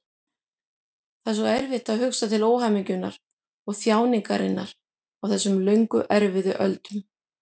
Það er svo erfitt að hugsa til óhamingjunnar og þjáninganna á þessum löngu erfiðu öldum.